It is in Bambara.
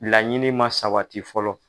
Laɲini ma sabati fɔlɔ.